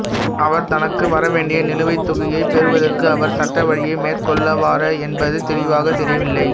அவர் தனக்கு வரவேண்டிய நிலுவைத் தொகையைப் பெறுவதற்கு அவர் சட்ட வழியை மேற்கொள்வாரா என்பது தெளிவாகத் தெரியவில்லை